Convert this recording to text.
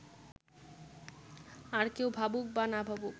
আর কেউ ভাবুক বা না ভাবুক